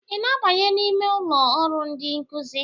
ị na-abanye n'ime ụlọ ọrụ ndị nkuzi?